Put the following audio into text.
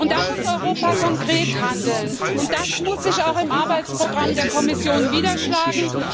Da muss Europa konkret handeln, und das muss sich auch im Arbeitsprogramm der Kommission niederschlagen.